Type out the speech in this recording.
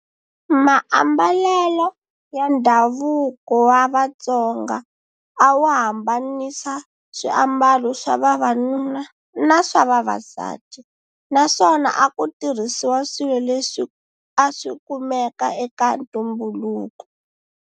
Maambalelo ya ndhavuko wa Vatsonga awu hambanisa swiambalo swa vavanuna na swa vavasati, naswona akutirhisiwa swilo leswi aswi kumeka eka ntumbuluko.